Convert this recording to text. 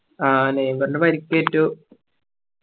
അഹ് നെയ്മറിന് പരിക്ക് ഏറ്റു